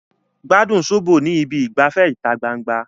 Gbádùn sóbò ní ibi ìgbafẹ́ ìta gbangba